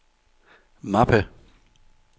mappe